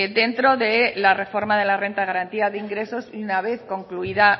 dentro de la reforma de la renta de garantía de ingresos y una vez concluida